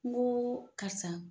N go karisa